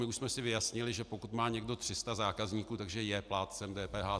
My už jsme si vyjasnili, že pokud má někdo 300 zákazníků, že je plátcem DPH.